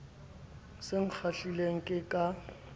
se a kgahlilwe ke ka